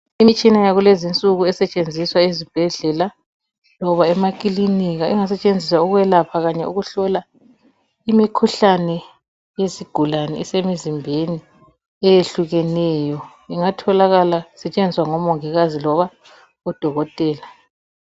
Imitshina yakulezinsuku esetshenziswa ezibhedlela loba emakilinika, ingasetshenziswa ukwelapha kanye ukuhlola imikhuhlane yezigulane esemzimbeni eyehlukeneyo. Ingatholakala isetshenziswa ngomongikazi loba odokotela.